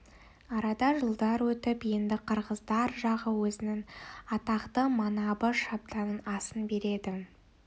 арада жылдар өтіп енді қырғыздар жағы өзінің атақты манабы шабданың асын береді